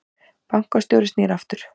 Bankastjóri snýr aftur